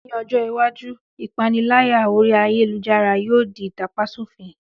Ní ọjọ́ iwájú, ìpániláyà orí ayélujára yóò di ìtàpa sòfin